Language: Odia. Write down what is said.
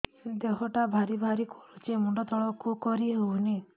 ଦେହଟା ଭାରି ଭାରି କରୁଛି ମୁଣ୍ଡ ତଳକୁ କରି ହେଉନି